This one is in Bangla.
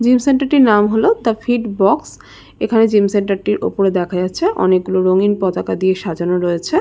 জিম সেন্টার - টির নাম হলো the fit box gym centre centre - টির ওপরে দেখা যাচ্ছে অনেকগুলি রঙ্গিন পতাকা দিয়ে সাজানো রয়েছে |